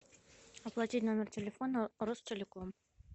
оплатить номер телефона ростелеком